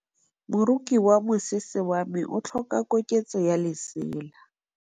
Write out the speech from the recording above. Moroki wa mosese wa me o tlhoka koketsô ya lesela.